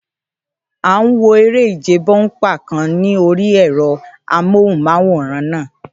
À ń wo eré ìje bọ́únpà kan ní orí ẹ̀rọ amóhùnmáwòrán náà